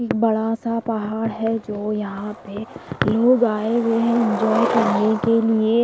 एक बड़ा सा पहाड़ है जो यहां पे लोग आए हुए हैं एंजॉय करने के लिए।